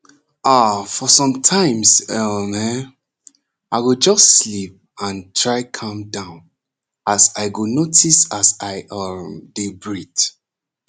ah for sometimes um hen i go just sleep and try calm down as i go notice as i um dey breath